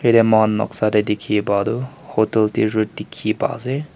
noksa dey dikhi pah du hotel tizhu dikhi pai ase.